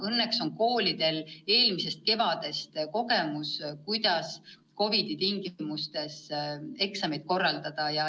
Õnneks on koolidel eelmisest kevadest kogemus, kuidas COVID-i tingimustes eksameid korraldada.